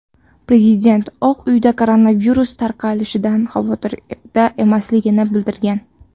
Prezident Oq uyda koronavirus tarqalishidan xavotirda emasligini bildirgan.